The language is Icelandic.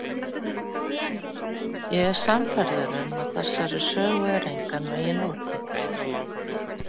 Ég er sannfærður um að þessari sögu er engan veginn lokið.